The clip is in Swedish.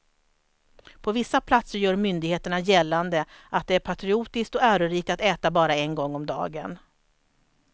På vissa platser gör myndigheterna gällande att det är patriotiskt och ärorikt att äta bara en gång om dagen.